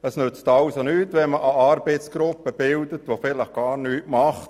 Es nützt deshalb nichts, eine Arbeitsgruppe zu bilden, die vielleicht gar nichts macht.